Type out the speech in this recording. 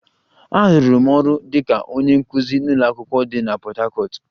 Arụrụ m ọrụ dị ka onye nkuzi n'ụlọ akwụkwọ dị na Port Harcourt